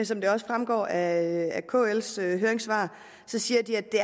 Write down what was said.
som det også fremgår af kls høringssvar siger de at det